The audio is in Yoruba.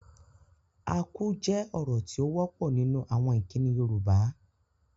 Akú jẹ́ ọ̀rọ̀ tí ó wọ́pọ̀ nínú àwọn ìkíni Yoruba